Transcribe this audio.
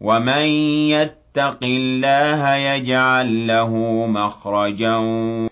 وَمَن يَتَّقِ اللَّهَ يَجْعَل لَّهُ مَخْرَجًا